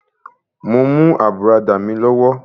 Mo mú àbùradà mi lọ́wọ́.